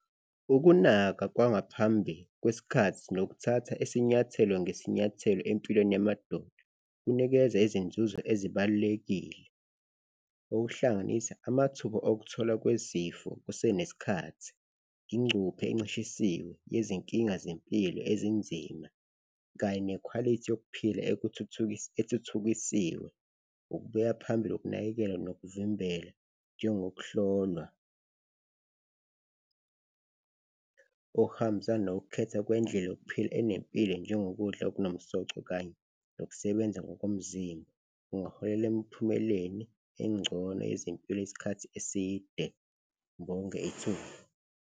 Ukunaka kwangaphambi kwesikhathi nokuthatha isinyathelo ngesinyathelo empilweni yamadoda kunikeza izinzuzo ezibalulekile, okuhlanganisa amathuba okutholwa kwezifo kusenesikhathi, ingcuphe encishisiwe yezinkinga zempilo ezinzima kanye nekhwalithi yokuphila ethuthukisiwe. Ukubuya phambili kokunakekelwa nokuvimbela, njengokuhlolwa okuhambisana nokukhetha kwendlela yokuphila enempilo njengokudla okunomsoco kanye nokusebenza ngokomzimba, kungaholela emiphumeleni engcono yezempilo isikhathi eside. Ngibonge ithuba.